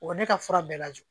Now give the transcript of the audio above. O ne ka fura bɛɛ lajɔ